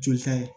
Joli ta ye